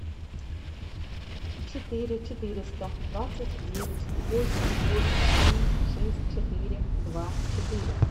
четыре четыреста двадцать девять восемь восемь семь шесть четыре два четыре